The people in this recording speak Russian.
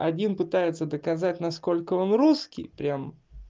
один пытается доказать насколько он русский прямо